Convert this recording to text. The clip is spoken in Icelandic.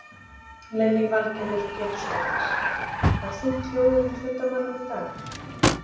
Lillý Valgerður Pétursdóttir: Var þungt hljóðið í fundarmönnum í dag?